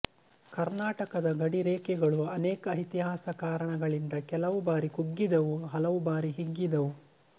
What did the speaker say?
ಕರ್ನಾಟಕದ ಗಡಿರೇಖೆಗಳು ಅನೇಕ ಇತಿಹಾಸ ಕಾರಣಗಳಿಂದ ಕೆಲವು ಬಾರಿ ಕುಗ್ಗಿದ್ದವು ಹಲವು ಬಾರಿ ಹಿಗ್ಗಿದ್ದವು